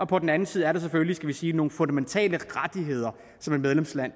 på den anden side selvfølgelig er skal vi sige nogle fundamentale rettigheder som et medlemsland